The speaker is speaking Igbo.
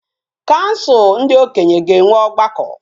kansul ndi okenye ga enwe ogbako